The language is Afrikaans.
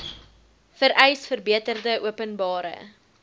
vereis verbeterde openbare